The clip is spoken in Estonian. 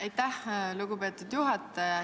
Aitäh, lugupeetud juhataja!